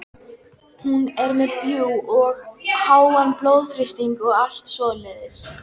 Hættuástandið heima fyrir nær hámarki á útborgunardegi þegar